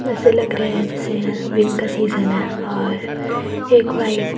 ऐसे लग रहा है जैसे विन का सीजन है और एक व्हाइट --